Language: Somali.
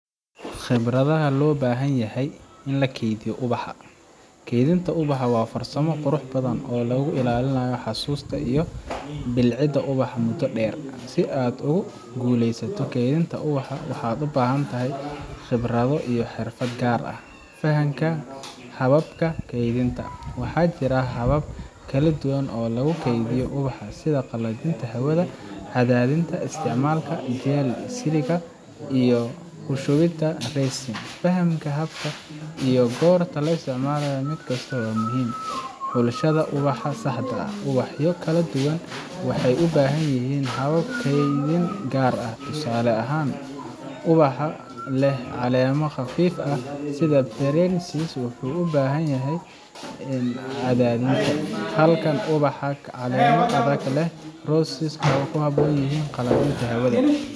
Khibradda Loo Baahan Yahay ee Kaydinta Ubaxa Kaydinta ubaxa waa farsamo qurux badan oo lagu ilaalinayo xasuusta iyo bilicda ubaxa muddo dheer. Si aad ugu guulaysato kaydinta ubaxa, waxaad u baahan tahay khibrado iyo xirfado gaar ah: Fahanka Hababka Kaydinta: Waxaa jira habab kala duwan oo lagu kaydiyo ubaxa, sida qalajinta hawada, cadaadinta, isticmaalka jel silica, iyo ku shubista resin. Fahamka hababkan iyo goorta la isticmaalo mid kasta waa muhiim. Xulashada Ubaxa Saxda ah: Ubaxyo kala duwan waxay u baahan yihiin habab kaydin gaar ah. Tusaale ahaan, ubaxa leh caleemo khafiif ah sida pansies[cs waxay ku habboon yihiin cadaadinta, halka ubaxa leh caleemo adag sida roses ay ku habboon yihiin qalajinta hawada.